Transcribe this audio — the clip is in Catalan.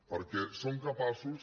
perquè són capaços